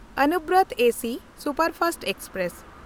Anuvrat AC superfast express